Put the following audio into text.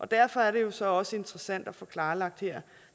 derfor er det jo så også interessant at få klarlagt her